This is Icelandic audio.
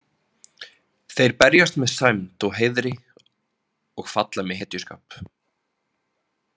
Þeir berjast með sæmd og heiðri og falla með hetjuskap.